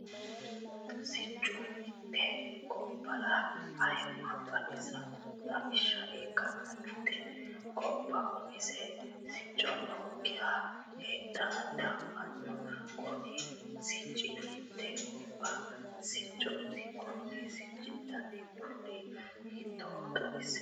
Siccu mite gobbara ayimase xawisha ikanna mite goba umise sicci nookiha heedhe dafano. Kunni sicci hiitee gobba siccooti? Konni sicci danni kuuli hiittoohoro xawise kuli?